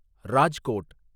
Rajkot